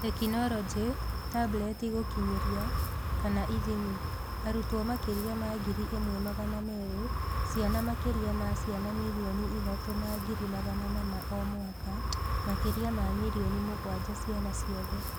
Tekinoronjĩ: Tableti gũkinyĩra / ithimi: Arutwo makĩria ma Ngiri ĩmwe magana meerĩ; ciana makĩria ma ciana mirioni ithatũ na ngiri magana mana o mwaka, makĩria ma milioni mũgwanja ciana ciothe.